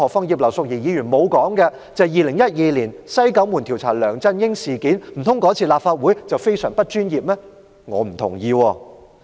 葉劉淑儀議員沒有提及2012年立法會調查梁振英"西九門"事件，難道那次立法會做得非常不專業嗎？